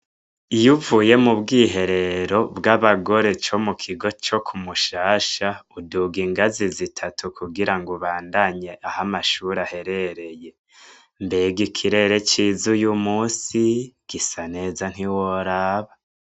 Iyuvuye mu bwiherero bw'abagore co mu kigo co kumushasha uduga ingazi zitatu kugira ngo bandanye aho amashuri aherereye .Mbega ikirere cy'izu y'umunsi gisa neza ntiworaba.